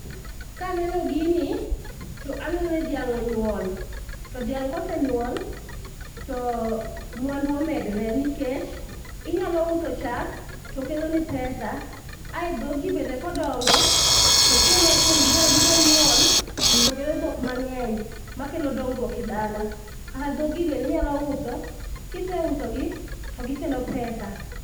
Kaneno gini to aneno ni dhiang' onyuol to dhiang' kosenyuol to mwandu omedre nikech inyalo uso chak tokeloni pesa. Ae dhogi bende kodongo to chieng' moro achiel gibiro nyuol to kelo dhok mang'eny makelo dongruok e dala. Kata dhogi bende inyalo uso, to kiseusogi to gikelo pesa